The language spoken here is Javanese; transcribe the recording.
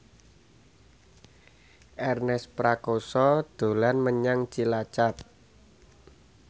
Ernest Prakasa dolan menyang Cilacap